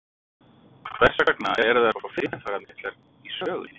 Hvers vegna eru þær svo fyrirferðarmiklar í sögunni?